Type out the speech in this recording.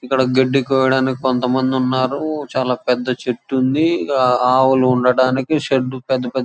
ఇక్కడ గడ్డి కోయడానికి కొంతమంది ఉన్నారు చాలా పెద్ద చెట్టు ఉంది ఆ ఆవులు ఉండడానికి షెడ్ పెద్ద పెద్ద --